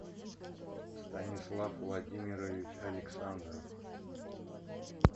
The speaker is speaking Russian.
станислав владимирович александров